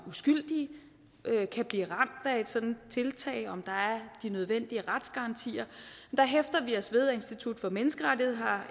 uskyldige kan blive ramt af et sådant tiltag og om der er de nødvendige retsgarantier der hæfter vi os ved at institut for menneskerettigheder har